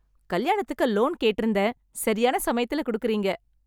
கல்யாணத்துக்கு லோன் கேட்டிருந்தேன், சரியான சமயத்துல கொடுக்கறீங்க!